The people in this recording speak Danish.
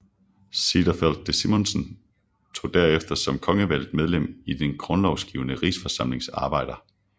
Cederfeld de Simonsen deltog derefter som kongevalgt medlem i den grundlovgivende Rigsforsamlings arbejder